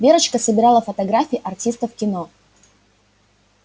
верочка собирала фотографии артистов кино